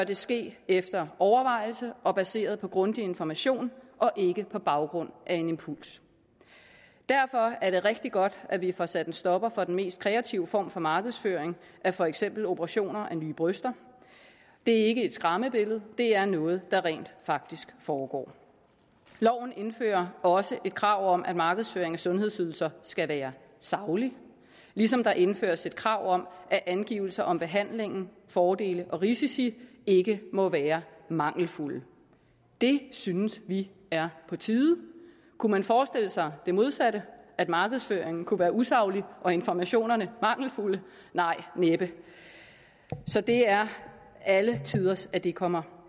det ske efter overvejelse og baseret på grundig information og ikke på baggrund af en impuls derfor er det rigtig godt at vi får sat en stopper for den mest kreative form for markedsføring af for eksempel operationer at nye bryster det er ikke et skræmmebillede det er noget der rent faktisk foregår loven indfører også et krav om at markedsføring af sundhedsydelser skal være saglig ligesom der indføres et krav om at angivelser om behandling fordele og risici ikke må være mangelfulde det synes vi er på tide kunne man forestille sig det modsatte at markedsføringen kunne være usaglig og informationerne mangelfulde nej næppe så det er alle tiders at det kommer